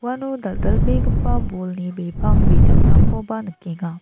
uano dal·dalbegipa bolni bipang bijakrangkoba nikenga.